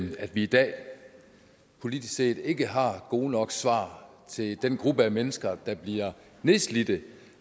i at vi i dag politisk set ikke har gode nok svar til den gruppe af mennesker der bliver nedslidte